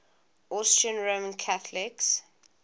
austrian roman catholics